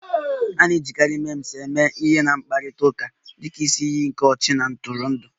A na-ejikarị Memes eme ihe na mkparịta ụka dị ka isi iyi nke ọchị na ntụrụndụ